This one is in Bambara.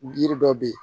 Yiri dɔ bɛ yen